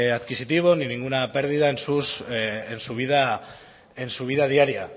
adquisitivo ni ninguna pérdida en su vida diaria